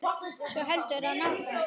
Svo heldur hann áfram